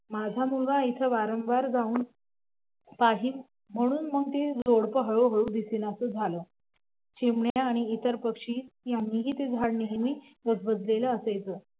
माझा मुलगा तिथं वारंवार जाऊन पाही म्हणून मग ते जोडपं हळूहळू दिसेनासा झालं चिमण्या आणि इतर पक्षी यांनी ते झाड नेहमी गजबजलेलं असायचं